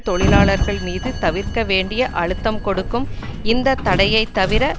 தொழிலாளர்கள் மீது தவிர்க்க வேண்டிய அழுத்தம் கொடுக்கும் இந்த தடையை தவிர